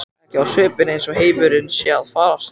Ekki á svipinn eins og heimurinn sé að farast.